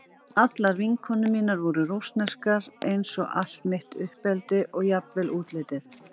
Allar vinkonur mínar voru rússneskar eins og allt mitt uppeldi og jafnvel útlitið.